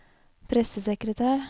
pressesekretær